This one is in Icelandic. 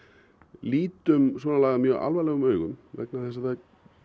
lítum svona mjög alvarlegum augum vegna þess að það